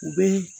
U bɛ